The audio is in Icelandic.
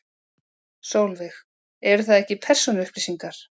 Sólveig: Eru það ekki persónuupplýsingar?